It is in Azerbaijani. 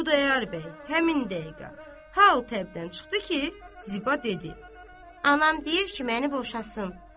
Xudayar bəy həmin dəqiqə hal-təbdən çıxdı ki, Ziba dedi: Anam deyir ki, məni boşasın.